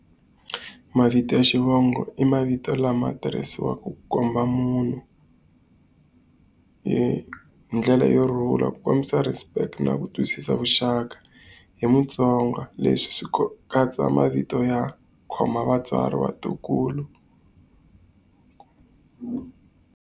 Mavito ya xivongo i mavito lama tirhisiwaku ku komba munhu hi ndlela yo rhula, ku kombisa respect na ku twisisa vuxaka hi muTsonga. Leswi swi katsa mavito ya khoma vatswari, vatukulu.